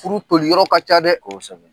Furu toli yɔrɔ ka ca dɛ. Kosɛbɛ.